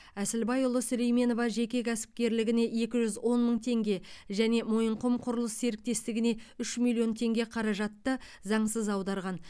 әсілбайұлы сулейменова жеке кәсіпкерлігіне екі жүз он мың тенге және мойынқұм құрылыс серіктестігіне үш миллион теңге қаражатты заңсыз аударған